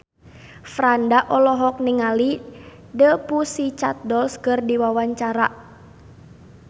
Franda olohok ningali The Pussycat Dolls keur diwawancara